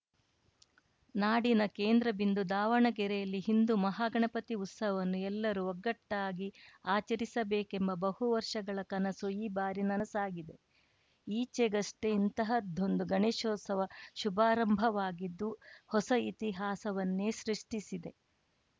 ನಾಡಿನ ಕೇಂದ್ರ ಬಿಂದು ದಾವಣಗೆರೆಯಲ್ಲಿ ಹಿಂದು ಮಹಾಗಣಪತಿ ಉತ್ಸವನ್ನು ಎಲ್ಲರೂ ಒಗ್ಗಟ್ಟಾಗಿ ಆಚರಿಸಬೇಕೆಂಬ ಬಹು ವರ್ಷಗಳ ಕನಸು ಈ ಬಾರಿ ನನಸಾಗಿದೆ ಈಚೆಗಷ್ಟೇ ಇಂತಹದ್ದೊಂದು ಗಣೇಶೋತ್ಸವ ಶುಭಾರಂಭವಾಗಿದ್ದು ಹೊಸ ಇತಿಹಾಸವನ್ನೇ ಸೃಷ್ಟಿಸಿದೆ